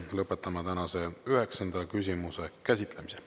Lõpetan tänase üheksanda küsimuse käsitlemise.